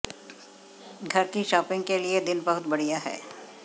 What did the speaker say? घर की शॉपिंग के लिए दिन बहुत बढ़िया है